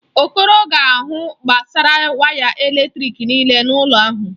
Okoro ga-ahụ gbasara waya eletrịk nịịle n'ụlọ ahụ.